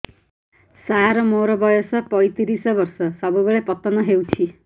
ସାର ମୋର ବୟସ ପୈତିରିଶ ବର୍ଷ ସବୁବେଳେ ପତନ ହେଉଛି